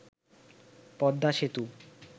Padma Setu